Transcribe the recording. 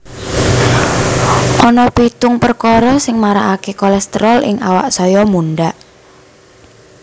Ana pitung perkara sing marakaké kolésterol ing awak saya mundhak